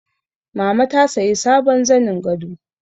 Mama ta sayi sabon zanin gado